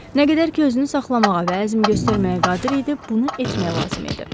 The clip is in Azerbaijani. Nə qədər ki, özünü saxlamağa və əzm göstərməyə qadir idi, bunu etmək lazım idi.